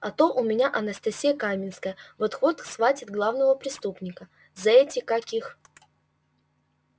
а то у меня анастасия каменская вот-вот схватит главного преступника за эти как их